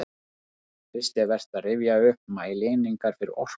Fyrst er vert að rifja upp mælieiningar fyrir orku.